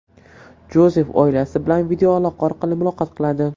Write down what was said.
Jozef oilasi bilan videoaloqa orqali muloqot qiladi.